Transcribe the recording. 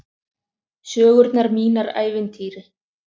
Sögurnar mínar ævintýri.